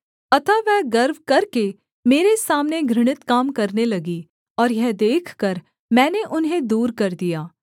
अतः वह गर्व करके मेरे सामने घृणित काम करने लगी और यह देखकर मैंने उन्हें दूर कर दिया